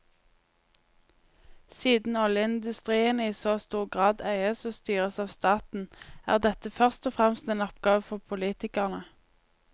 Siden oljeindustrien i så stor grad eies og styres av staten, er dette først og fremst en oppgave for politikerne.